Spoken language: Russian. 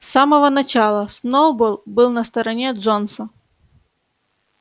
с самого начала сноуболл был на стороне джонса